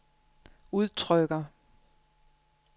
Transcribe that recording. udtrykker